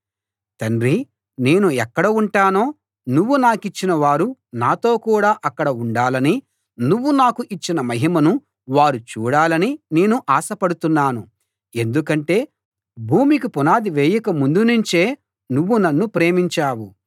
తండ్రీ నేను ఎక్కడ ఉంటానో నువ్వు నాకిచ్చిన వారు నాతో కూడా అక్కడ ఉండాలని నువ్వు నాకు ఇచ్చిన మహిమను వారు చూడాలని నేను ఆశపడుతున్నాను ఎందుకంటే భూమికి పునాది వేయక ముందు నుంచే నువ్వు నన్ను ప్రేమించావు